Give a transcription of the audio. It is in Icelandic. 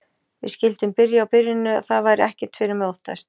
Við skyldum byrja á byrjuninni og það væri ekkert fyrir mig að óttast.